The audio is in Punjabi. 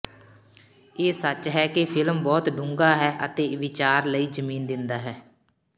ਇਹ ਸੱਚ ਹੈ ਕਿ ਫਿਲਮ ਬਹੁਤ ਡੂੰਘਾ ਹੈ ਅਤੇ ਵਿਚਾਰ ਲਈ ਜ਼ਮੀਨ ਦਿੰਦਾ ਹੈ